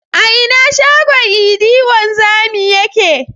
A ina shagon idi wanzami yake?